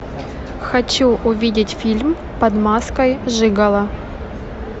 хочу увидеть фильм под маской жиголо